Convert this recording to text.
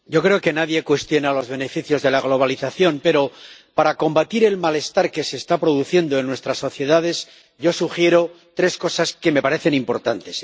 Señor presidente, yo creo que nadie cuestiona los beneficios de la globalización, pero para combatir el malestar que se está produciendo en nuestras sociedades yo sugiero tres cosas que me parecen importantes.